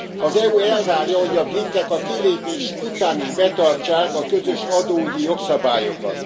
Az EU elvárja, hogy a britek a kilépés után is betartsák a közös adóügyi jogszabályokat.